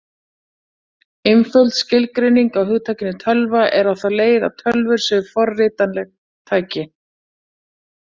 Einföld skilgreining á hugtakinu tölva er á þá leið að tölvur séu forritanleg tæki.